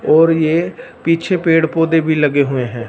और ये पीछे पेड़ पौधे भी लगे हुए हैं।